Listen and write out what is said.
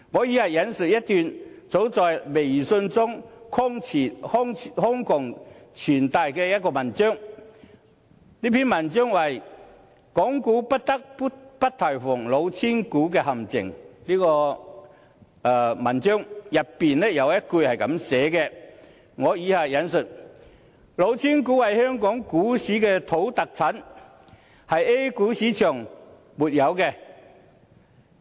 以下我引述一段早在微信中瘋傳的文章，這篇文章是"港股不得不提防的'老千股'陷阱"，文章中有一句是這樣寫的："老千股是香港股市的土特產，是 A 股市場所沒有的。